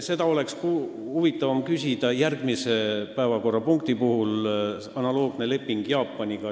Seda oleks huvitavam küsida järgmise päevakorrapunkti arutelul, kui kõne all on analoogne leping Jaapaniga.